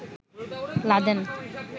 Laden